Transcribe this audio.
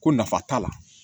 Ko nafa t'a la